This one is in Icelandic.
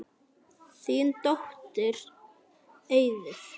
Þín dóttir Auður.